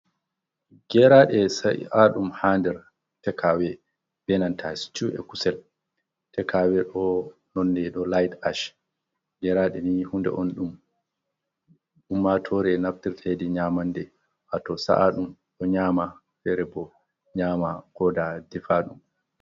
Geraɗe sa'aɗum ha nder tek awe be nanta stewu e'kusel. Tek awe ɗo nonde light-ash. Geraɗe ni hunde on ɗum ummatore naftirta hedi nyamande. Wato sa’aɗum ɗo nyama, fere bo nyama koda defaɗum.